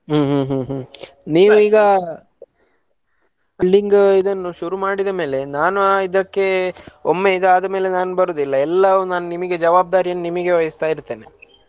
ಹ್ಮ್‌ ಹ್ಮ್‌ ಹ್ಮ್‌ ನೀವು ಈಗ building ಇದನ್ನು ಶುರು ಮಡಿದ ಮೇಲೆ ನಾನು ಇದಕ್ಕೆ ಒಮ್ಮೆ ಇದು ಆದಮೇಲೆ ಬರೋದಿಲ್ಲ ಎಲ್ಲಾ ಜವಾಬ್ದಾರಿಯನ್ನು ನಿಮಗೆ ವಹಿಸಿತ ಇರ್ತೇನೆ.